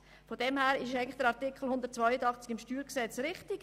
Deshalb ist der bestehende Artikel 182 StG richtig.